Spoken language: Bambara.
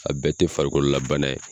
A bɛɛ tɛ farikolo la bana ye.